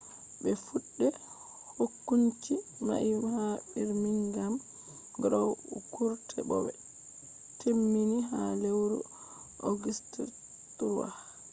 be fuɗɗe hokunci mai ha birmingham crown court bo be temmini ha lewru august 3